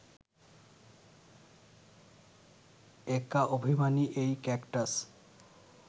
একা অভিমানী এই ক্যাকটাস